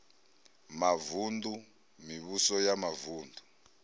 mavun ḓu mivhuso ya mavuṋdu